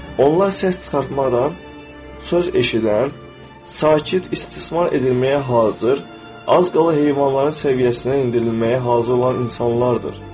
Onlar səs çıxartmadan, söz eşidən, sakit, istismar edilməyə hazır, az qala heyvanların səviyyəsinə endirilməyə hazır olan insanlardır.